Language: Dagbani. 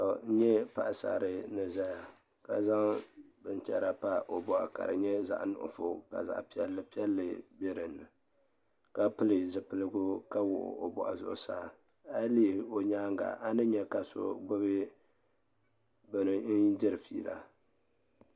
N nyɛ paɣasarili ni ʒɛya ka zaŋ binchɛra pa o boɣu ka di nyɛ zaɣ nuɣso ka zaɣ piɛlli piɛlli bɛ dinni ka pili zipiligu ka wuɣi o boɣu zuɣusaa a yi lihi o nyaanga a ni nyɛ ka so gbubi bini n diri fiila